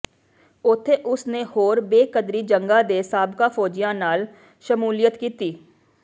ਉੱਥੇ ਉਸ ਨੇ ਹੋਰ ਬੇਕਦਰੀ ਜੰਗਾਂ ਦੇ ਸਾਬਕਾ ਫ਼ੌਜੀਆਂ ਨਾਲ ਸ਼ਮੂਲੀਅਤ ਕੀਤੀ